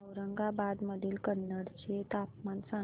औरंगाबाद मधील कन्नड चे तापमान सांग